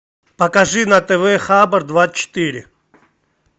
покажи на тв хабар двадцать четыре